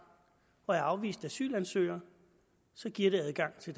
og er afvist asylansøger så giver det adgang til